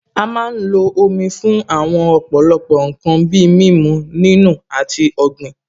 A má ń lo Omi fún àwọn ọ̀pọ̀lọpọ̀ ǹkan bíi mímu, nínù, àti ọ̀gbìn